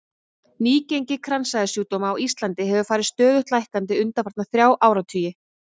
Nýgengi kransæðasjúkdóma á Íslandi hefur farið stöðugt lækkandi undanfarna þrjá áratugi.